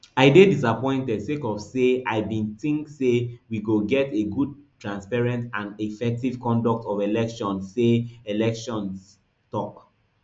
i dey disappointed sake of say i bin tink say we go get a good transparent and effective conduct of electionse electionse tok